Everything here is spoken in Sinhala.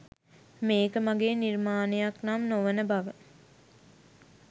මේක මගේ නිර්මානයක් නම් නොවන බව